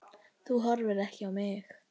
Þú horfir ekki á mig.